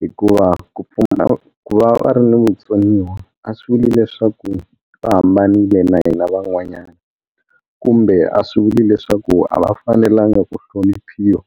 hikuva ku pfumala ku va va ri ni vutsoniwa a swi vuli leswaku va hambanile na hina van'wanyana kumbe a swi vuli leswaku a va fanelanga ku hloniphiwa.